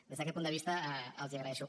des d’aquest punt de vista els hi agraeixo